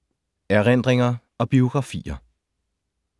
Erindringer og biografier